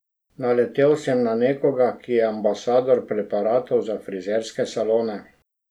Naletel sem na nekoga, ki je ambasador preparatov za frizerske salone.